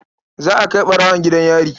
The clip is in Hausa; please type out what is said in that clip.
Za a kai ɓarwon gidan yari.